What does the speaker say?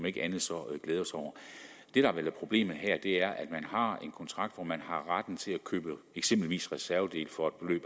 ikke andet så glæde os over det der vel er problemet her er at man har en kontrakt hvor man har retten til at købe eksempelvis reservedele for et beløb